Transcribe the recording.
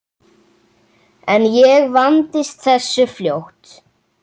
En ég vandist þessu fljótt.